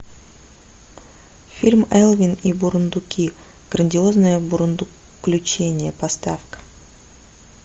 фильм элвин и бурундуки грандиозное бурундуключение поставь ка